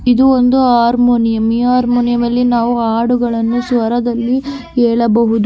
ಇದು ಒಂದು ಹಾರ್ಮೋನಿಯಂ ಈ ಹಾರ್ಮೋನಿಯಂನಲ್ಲಿ ಹಾಡುಗಳನ್ನು ಸ್ವರದಲ್ಲಿ ಕೇಳಬಹುದು.